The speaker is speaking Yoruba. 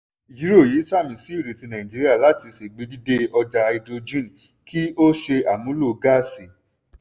ìjírọ̀rọ̀ yìí sààmì sí ìrètí nàìjíría láti ṣègbèdíde ọjà háídírójìn kí ó ṣe àmúlò gáàsì.